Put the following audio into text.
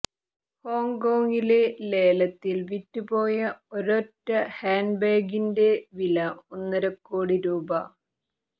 ഹോങ്കോങ്ങിലെ ലേലത്തിൽ വിറ്റുപോയ ഒരൊറ്റ ഹാൻഡ്ബാഗിന്റെ വില ഒന്നരക്കോടി രൂപ